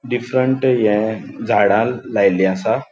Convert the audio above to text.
डिफफरेंट ये झाडा लायली आसा.